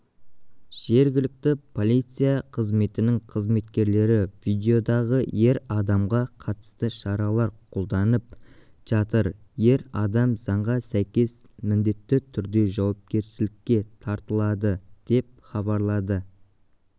жергілікті полиция қызметінің қызметкерлері видеодағы ер адамға қатысты шаралар қолданып жатыр ер адам заңға сәйкес міндетті түрде жауапкершілікке тартылады деп хабарлады